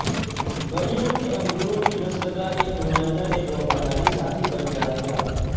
بلیوں کے انگوروں کی نسل کا ایک نمائندہ ایک وفاداری ساتھی بن جائے گا